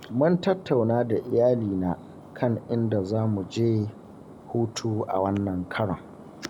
Mun tattauna da iyalina kan inda za mu je hutu a wannan karon.